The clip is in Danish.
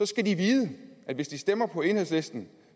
skal vide at hvis de stemmer på enhedslisten